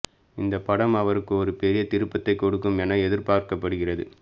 இந்த படம் அவருக்கு ஒரு பெரிய திருப்பத்தை கொடுக்கும் என எதிர்பார்க்கப்படுகிறது